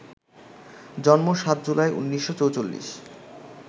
জন্ম ৭ জুলাই, ১৯৪৪